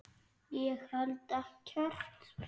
Ég held ekkert.